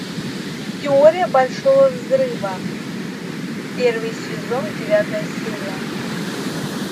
теория большого взрыва первый сезон девятая серия